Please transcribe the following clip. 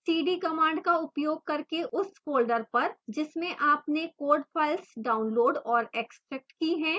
cd command का उपयोग करके उस folder पर जिसमें आपने code files downloaded और extracted की है